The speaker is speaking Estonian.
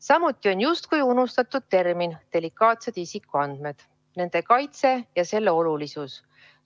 Samuti on justkui unustatud termin "delikaatsed isikuandmed", nende kaitse ja selle olulisus.